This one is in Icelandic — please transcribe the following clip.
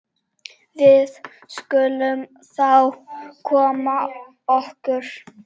Við skulum þá koma okkur.